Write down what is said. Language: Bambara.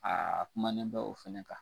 Aa kumanen bɛ o fɛnɛ kan.